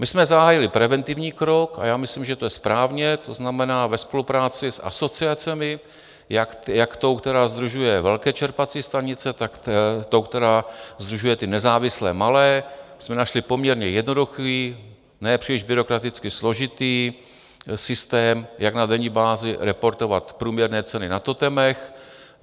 My jsme zahájili preventivní krok, a já myslím, že to je správně, to znamená, ve spolupráci s asociacemi - jak tou, která sdružuje velké čerpací stanice, tak tou, která sdružuje ty nezávislé malé - jsme našli poměrně jednoduchý, ne příliš byrokraticky složitý systém, jak na denní bázi reportovat průměrné ceny na totemech.